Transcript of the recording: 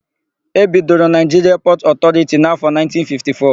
E bidoro Naịjiria Pọtụ Ọtọriti n'áfọ̀ 1954.